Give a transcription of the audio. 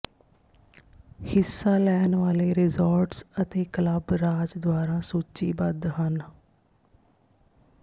ਹਿੱਸਾ ਲੈਣ ਵਾਲੇ ਰਿਜ਼ੋਰਟਜ਼ ਅਤੇ ਕਲੱਬ ਰਾਜ ਦੁਆਰਾ ਸੂਚੀਬੱਧ ਹਨ